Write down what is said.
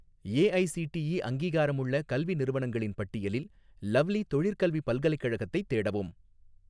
AICTE அங்கீகாரமுள்ள கல்வி நிறுவனங்களின் பட்டியலில் லவ்லி தொழிற்கல்விப் பல்கலைக்கழகத்தைத் தேடவும்